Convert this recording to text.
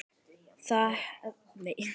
Það er alls ekki raunin.